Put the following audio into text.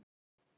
En hún?